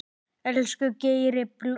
Elsku Geiri brói.